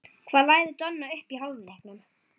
Hvað lagði Donni upp í hálfleiknum?